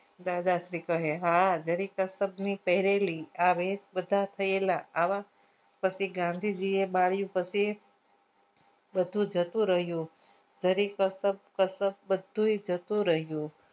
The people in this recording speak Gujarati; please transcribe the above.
દાદાશ્રી કહે હા જરીક પહરેલી આવા પછી ગાંધીજીએ બાળ્યું પછી બધું જતું રહ્યું જરીક કશક કશક બધું એ જતું રહ્યું